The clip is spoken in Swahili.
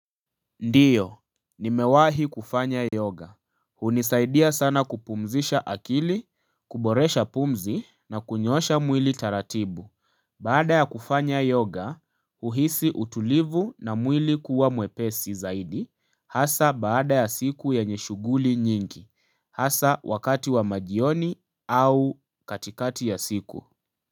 Ndiyo, nimewahi kufanya yoga, hunisaidia sana kupumzisha akili, kuboresha pumzi na kunyosha mwili taratibu Baada ya kufanya yoga, uhisi utulivu na mwili kuwa mwepesi zaidi, hasa baada ya siku ya nyeshuguli nyingi, hasa wakati wa majioni au katikati ya siku.